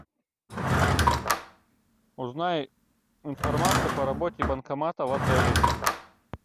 узнай информацию по работе банкомата в отеле